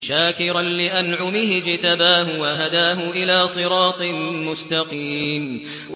شَاكِرًا لِّأَنْعُمِهِ ۚ اجْتَبَاهُ وَهَدَاهُ إِلَىٰ صِرَاطٍ مُّسْتَقِيمٍ